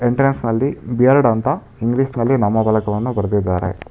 ಎಂಟ್ರೆಂನ್ಸ್ನಲ್ಲಿ beard ಅಂತ ಇಂಗ್ಲೀಷ್ನಲ್ಲಿ ನಾಮಪಲಕವನ್ನು ಬರೆದಿದ್ದಾರೆ.